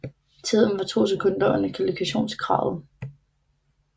Tiden var to sekund under kvalifikationskravet